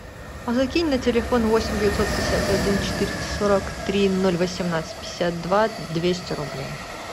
а закинь на телефон восемь девятьсот пятьдесят один четыреста сорок три ноль восемнадцать пятьдесят два двести рублей